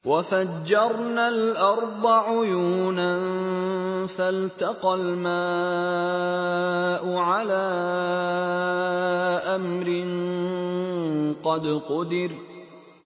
وَفَجَّرْنَا الْأَرْضَ عُيُونًا فَالْتَقَى الْمَاءُ عَلَىٰ أَمْرٍ قَدْ قُدِرَ